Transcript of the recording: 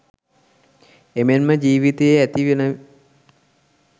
එමෙන්ම ජීවිතයේ ඇති වන